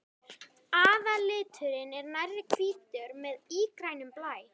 Aðalliturinn er nærri hvítur með ígrænum blæ.